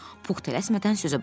Puh tərəsmədən sözə başladı.